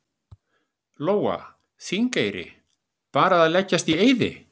Lóa: Þingeyri, bara leggjast í eyði?